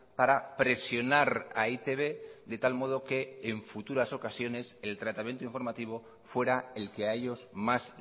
para presionar a e i te be de tal modo que en futuras ocasiones el tratamiento informativo fuera el que a ellos más